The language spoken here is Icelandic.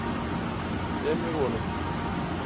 Sem við vonum.